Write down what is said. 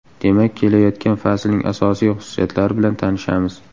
Demak kelayotgan faslning asosiy xususiyatlari bilan tanishamiz.